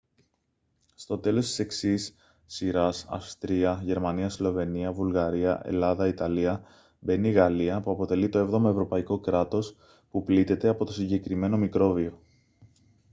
στο τέλος της εξής σειράς αυστρία γερμανία σλοβενία βουλγαρία ελλάδα ιταλία μπαίνει η γαλλία που αποτελεί το 7ο ευρωπαϊκό κράτος που πλήττεται από το συγκεκριμένο μικρόβιο